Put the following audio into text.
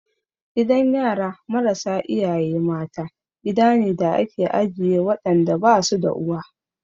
Gidan yara marasa iyaye mata, gida ne da ake ajiye waɗanda ba su da uwa.